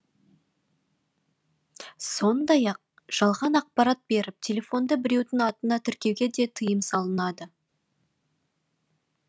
сондай ақ жалған ақпарат беріп телефонды біреудің атына тіркеуге де тыйым салынады